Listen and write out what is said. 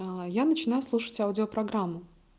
я начинаю слушать аудио программу